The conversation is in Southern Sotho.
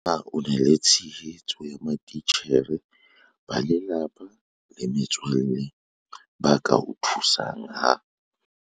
Na o na le tshehetso ya matitjhere, ba lelapa le metswalle ba ka o thusang ha